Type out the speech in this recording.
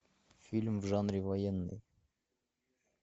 фильм в жанре военный